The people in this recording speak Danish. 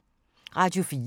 Radio 4